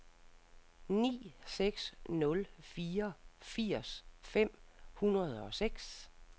ni seks nul fire firs fem hundrede og seks